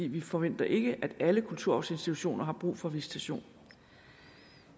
vi forventer ikke at alle kulturarvsinstitutioner har brug for visitation